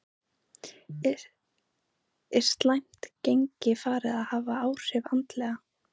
Er slæmt gengi farið að hafa áhrif andlega?